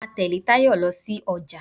Mo máa tẹ̀lé Tayo lọ sí ọjà.